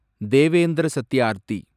Devendra Satyarthi